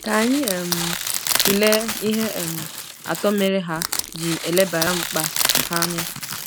Ka anyị um tụlee ihe um atọ mere ha ji elebara mkpa ha anya.